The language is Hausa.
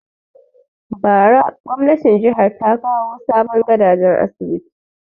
Bara gwamnatin jihar ta kawo sabon gadajen asibiti